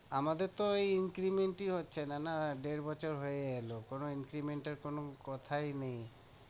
আমাদের তো ওই increment ই হচ্ছে না, দেড় বছর হয়ে গেলো কোনো increment এর কোনো কথাই নেই।